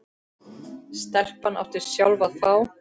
Stelpan átti sjálf að fá.